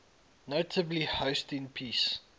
notably hosting peace